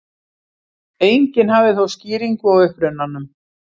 Enginn hafði þó skýringu á upprunanum.